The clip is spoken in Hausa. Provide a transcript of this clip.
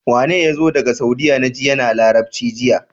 Wane yazo daka saudiya naji yAna labarci jiya